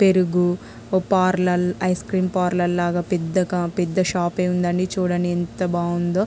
పెరుగు ఒ parlour ice cream parlour లాగా పెద్దగా పెద్ద షాప్ ఎ ఉందండి. చుడండి ఎంత బాగుందో --